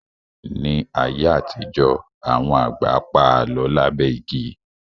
Ní ayé àtijọ́, àwọn àgbà pa Àlọ́ lábẹ́ igi